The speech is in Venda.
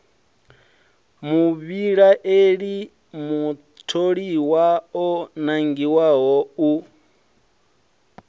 muvhilaeli mutholiwa o nangiwaho u